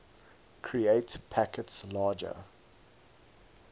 create packets larger